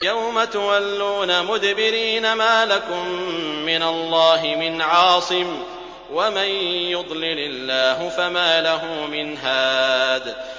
يَوْمَ تُوَلُّونَ مُدْبِرِينَ مَا لَكُم مِّنَ اللَّهِ مِنْ عَاصِمٍ ۗ وَمَن يُضْلِلِ اللَّهُ فَمَا لَهُ مِنْ هَادٍ